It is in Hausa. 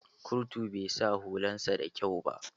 Kurtun bai sa hulan sa da kyau ba.